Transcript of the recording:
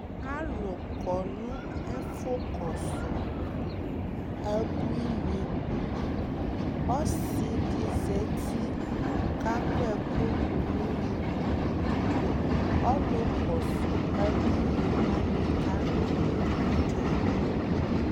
alʋ kɔnʋ ɛƒʋ kɔsʋ abʋinib, ɔsii di zati kʋ akɔ ɛkʋ dʋ nʋ ʋnʋkʋ, ɔlʋ kɔsʋ abʋini wani kadʋ abʋi kayi